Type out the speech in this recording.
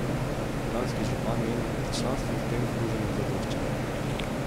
Kranjski župan meni, da članstvo v tem združenju zadošča.